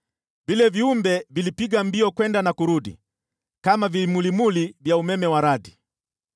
Vile viumbe vilipiga mbio kwenda na kurudi, kama vimulimuli vya umeme wa radi.